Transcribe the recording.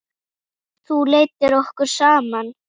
Þú leiddir okkur saman.